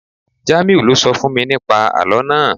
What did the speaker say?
Jamiu lo sọ fún mi ní pa àlọ́ naa